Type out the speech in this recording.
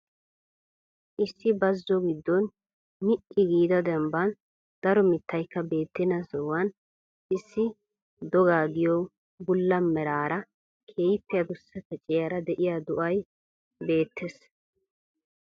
Issi bazzo gidoon mi'i giida dembbaan daro mittaykka beettenna sohuwaan issi dogaa giyo bulla meraara, keehippe adussa kacciyara de'iyaa do'ay beettees.